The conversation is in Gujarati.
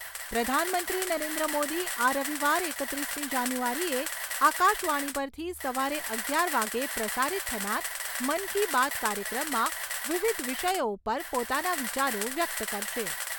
પ્રધાનમંત્રી નરેન્દ્ર મોદી આ રવિવાર એકત્રીસમી જાન્યુઆરીએ આકાશવાણી પરથી સવારે અગિયાર વાગે પ્રસારિત થનાર મન કી બાત કાર્યક્રમમાં વિવિધ વિષયો ઉપર પોતાના વિચારો વ્યક્ત કરશે.